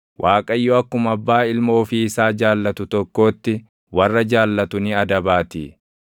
Waaqayyo akkuma abbaa ilma ofii isaa jaallatu tokkootti warra jaallatu ni adabaatii.